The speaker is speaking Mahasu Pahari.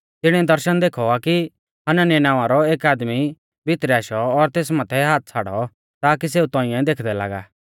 तिणीऐ दर्शण देखौ आ कि हनन्याह नावां रौ एक आदमी भितरै आशौ और तेस माथै हाथ छ़ाड़ौ ताकी सेऊ तौंइऐ देखदै लागा